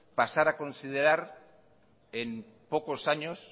pasar a considerar en pocos años